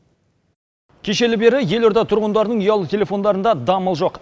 кешелі бері елорда тұрғындарының ұялы телефондарында дамыл жоқ